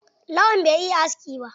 Lawan bai iya aski ba.